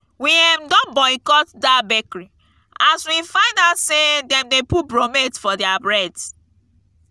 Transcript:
we um don boycott dat bakery as we find out sey dem dey put bromate for their bread.